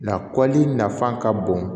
Na kɔli nafa ka bon